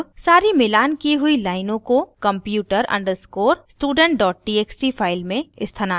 अब सारी मिलान की हुई लाइनों को computer _ student txt file में स्थानांतरित किया जायेगा